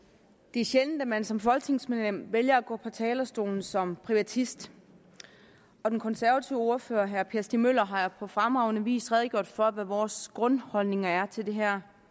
det er sjældent at man som folketingsmedlem vælger at gå på talerstolen som privatist og den konservative ordfører herre per stig møller har jo på fremragende vis redegjort for hvad vores grundholdning er til det her